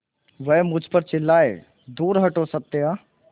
वह मुझ पर चिल्लाए दूर हटो सत्या